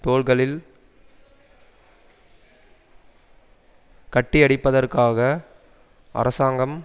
தோள்களில் கட்டியடிப்பதற்காக அரசாங்கம்